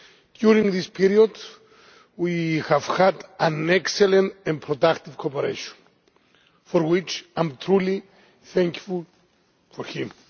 During this period we have had excellent and productive cooperation for which I am truly thankful to him.